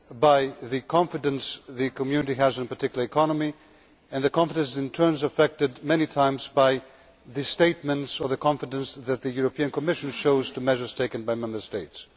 by the confidence the Community has in a particular economy and that confidence is, in turn, affected many times by statements on the confidence that the European Commission shows in measures taken by Member States.